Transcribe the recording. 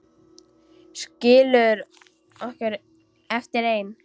Skilur okkur eftir ein.